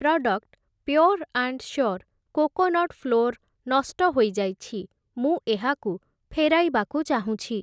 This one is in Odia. Product pure and sure coconut flour ନଷ୍ଟ ହୋଇଯାଇଛି, ମୁଁ ଏହାକୁ ଫେରାଇବାକୁ ଚାହୁଁଛି ।